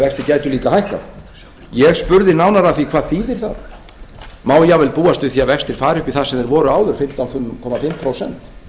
líka hækkað ég spurði nánar að því hvað þýðir það má jafnvel búast við því að vextir færu upp í það sem þeir voru áður fimmtán og hálft prósent